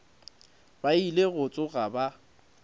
ba ile go tsoga ba